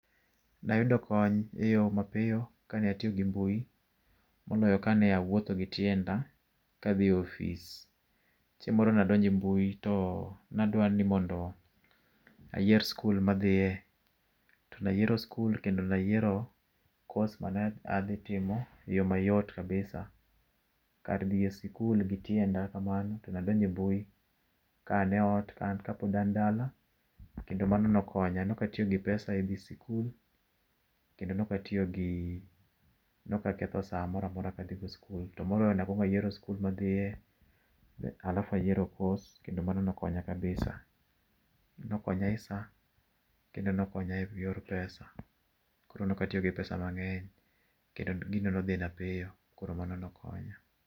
Ne ayudo kony eyo mapiyo kane atiyo gi mbui moloyo kane awuotho gi tienda kadho ofis. Chieng' moro ne adonjo e mbui to ne adwa ni mondo ayier skul ma adhiye. To ne ayiero skul kendo ne ayiero course mane adhi timo eyo mayot kabisa. Kar dhi e sikul gi tienda kamano to ne adonjo e mbui ka an eot, an kapod an dala kendo mano ne okonya. Ne ok atiyo gi pesa e dhi sikul kendo ne ok atiyo gi ne ok aketho saa moro amora kadhi go sikul. To moloyo ne akuongo ayiero sikul ma adhiye alafu ayiero course kendo mano ne okonya kabisa. Ne okonya e saa kendo ne okonya eyor pesa. Koro ne ok atiyo gi pesa mang'eny. Kendo gino nodhina piyo, koro mano nokonya.